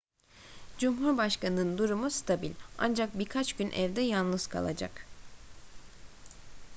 cumhurbaşkanının durumu stabil ancak birkaç gün evde yalnız kalacak